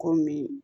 Komi